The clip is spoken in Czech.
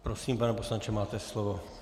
Prosím, pane poslanče, máte slovo.